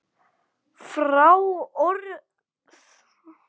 Fá orð lýsa honum betur.